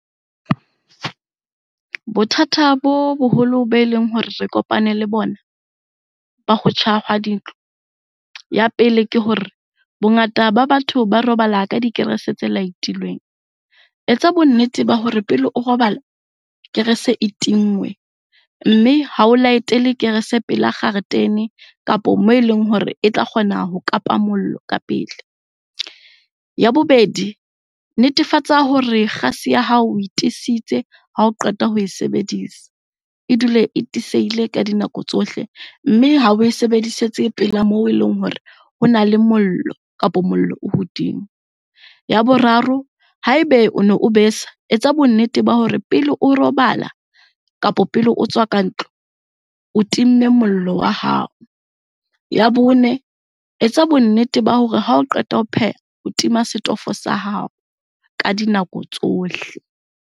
Bothata bo boholo be leng hore re kopane le bona, ba ho tjha ha dintlo. Ya pele ke hore bongata ba batho ba robala ka dikerese tse light-ilweng. Etsa bonnete ba hore pele o robala kerese e tinngwe. Mme ha o light-ele kerese pela kgaretene kapa moo eleng hore e tla kgona ho kapa mollo ka pele. Ya bobedi, netefatsa hore kgase ya hao oe tiisitse ha o qeta ho e sebedisa, e dule e tiiseile ka dinako tsohle mme ha oe sebedisetse pela moo eleng hore hona le mollo kapo mollo o hodimo. Ya boraro, haebe o ne o besa, etsa bo nnete ba hore pele o robala kapa pele o tswa ka ntlo o timme mollo wa hao. Ya bone, etsa bonnete ba hore ha o qeta ho pheha o tima setofo sa hao ka dinako tsohle.